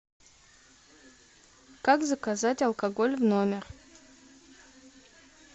как заказать алкоголь в номер